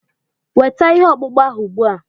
Weta ihe ọkpụkpụ ahụ ugbua!